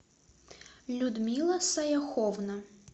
людмила саяховна